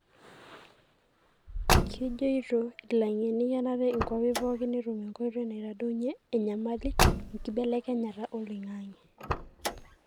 kejoito ilangeni kenare inkwapi pooki netum enkoitoi naitadounyie enyamali enkibelekenyata oloingange.